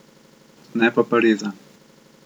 Ne pa Pariza.